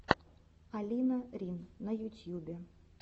алина рин на ютьюбе